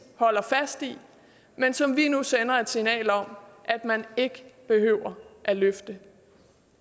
holder fast i men som vi nu sender et signal om at man ikke behøver at løfte